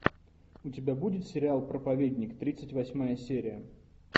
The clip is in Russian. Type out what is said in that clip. у тебя будет сериал проповедник тридцать восьмая серия